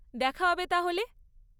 দেখা হবে তাহলে।